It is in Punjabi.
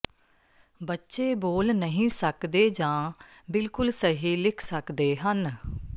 ਬੱਚੇ ਬੋਲ ਨਹੀਂ ਸਕਦੇ ਜਾਂ ਬਿਲਕੁਲ ਸਹੀ ਲਿਖ ਸਕਦੇ ਹਨ